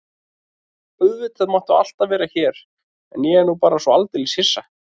Auðvitað máttu alltaf vera hér en ég er nú bara svo aldeilis hissa.